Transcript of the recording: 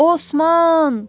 Osman!